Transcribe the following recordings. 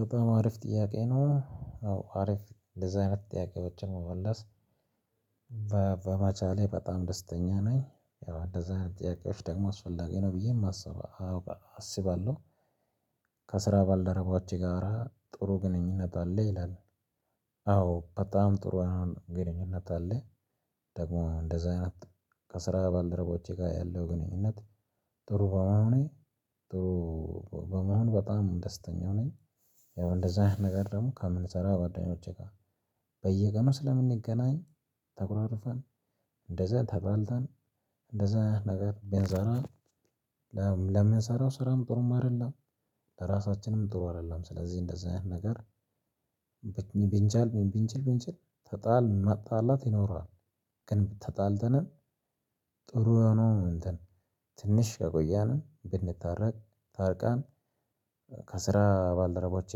በጣም አሪፍ ጥያቄ ነው አዎ አሪፍ እንደዚህ አይነት ጥያቄዎችን መመለስ። በበመቻሌ በጣም ደስተኛ ነኝ ያው አንደዚህ አይነት ጥያቄዎች ደግሞ አስፈላጊ ነው ብዬ የማስበ አውቃ አስባለሁ። ከስራ ባልደረቦችህ ጋራ ጥሩ ግንኙነት አለህ ይላል? አዎ በጣም ጥሩ አሁን ግንኙነት አለ። ደግሞ እንደዛ አይነት። ከስራ ባልደረቦቼ ጋር ያለው ግንኙነት ጥሩ በመሆኔ። በመሆን በጣም ደስተኛ ነኝ። ያው እንደዛ አይነት ነገር ደግሞ ከምንሠራው ጓደኞቼ ጋር። በየቀኑ ስለምንገናኝ ተኮራርፈን እንደዛ ተጣልተን እንደዛ ነገር ብንሠራ። ለም ለምንሰራው ስራም ጥሩም አይደለም። ለራሳችንም ጥሩ አይደለም ስለዚህ እንደዛ አይነት ነገር። ቢንቻል ብንችል ብንችል ተጣል መጣላት ይኖራል። ግን ተጣልተን ጥሩ የሆነ እንትን። ትንሽ ከቆየንም ብንታረቅ ታርቀን። ከስራ ባልደረቦቸ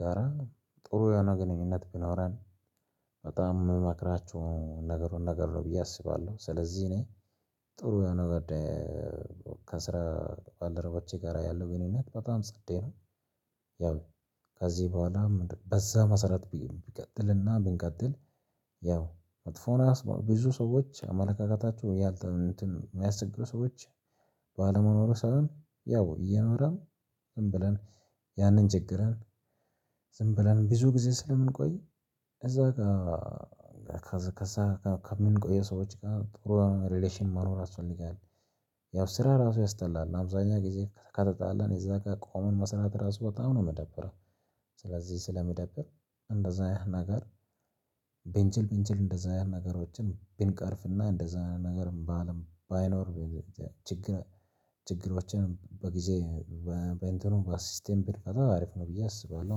ጋራ ጥሩ የሆነ ግንኙነት ቢኖረን። በጣም የምመክራችው ነገሮች ነገር ነው ብዬ አስባለሁ። ስለዚህ እኔ ጥሩ የሆነ በዴ። ከስራ ባልደረቦቼ ጋር ያለው ግንኙነት በጣም ጸዴ ነው። ያው ከዚህ በኋላ በዛ መሰረት ቢቢቀጥልና ብንቀጥል። ያው መጥፎ ነው ያስባው ብዙ ሰዎች አመለካከታቸው ያልተ እንትን የሚያስቸሩ ሰዎች። ባለመኖሩ ሳይሆን ያው እየኖረን ዝም ብለን ያንን ችግረን። ዝም ብለን ብዙ ጊዜ ስለምንቆይ እዛ ጋ። ከዛ ከዛ ጋ ከምንቆይ ሰዎች ጋር ጥሩ ሪሌሽን መኖር ያስፈልጋል። ያው ስራ ራሱ ያስጠላል አብዛኛው ጊዜ ከተ ከተጣላን እዛ ጋ ቆመን መስራት ራሱ በጣም ነው የሚደብረው። ስለዚህ ስለሚደብር እንደዛ ያህል ነገር። ብንችል ብንችል እንደዚህ አይነት ነገሮችን ብንቀርፍ እና እንደዚህ አይነት ነገርም በአለም ባይኖር። ችግር ችግሮችን በጊዜ በኢንትኑ ብንፈታው በሲስተም ብንፈታው አሪፍ ነው ብዬ አስባለሁ።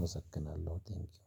እመሰግናለሁ ቴንኪው።